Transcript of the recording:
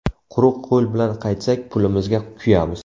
Quruq qo‘l bilan qaytsak, pulimizga kuyamiz.